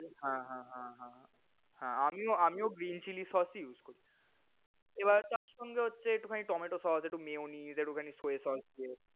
হা হা হা হা হা হা আমিও আমিও green chilli sauce ই use করি। এবার তার সঙ্গে হচ্ছে একটুখানি tomato sauce, একটু mayonnaise, একটুখানি soya sauce দেই।